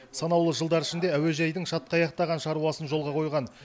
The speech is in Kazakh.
санаулы жылдар ішінде әуежайдың шатқаяқтаған шаруасын жолға қойған